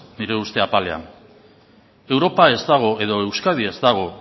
nire uste apalean europa ez dago edo euskadi ez dago